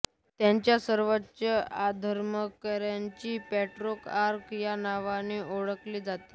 त्यांच्या सर्वोच्च धर्माधिकाऱ्यांना पॅट्रिआर्क या नावाने ओळखले जाते